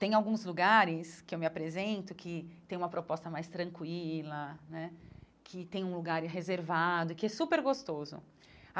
Tem alguns lugares que eu me apresento que têm uma proposta mais tranquila né, que têm um lugar reservado, que é super gostoso.